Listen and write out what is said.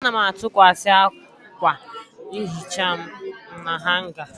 Ana m atụkwasị akwa nhicha m na hanga.